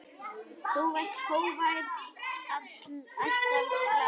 Þú varst hógvær, alltaf glaður.